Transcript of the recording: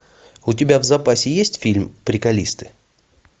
у тебя в запасе есть фильм приколисты